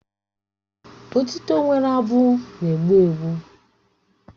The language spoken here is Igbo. Otịto nwere abụ na-egbu mgbu